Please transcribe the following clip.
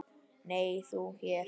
Nei, þú hér?